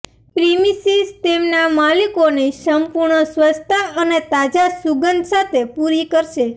premises તેમના માલિકોને સંપૂર્ણ સ્વચ્છતા અને તાજા સુગંધ સાથે પૂરી કરશે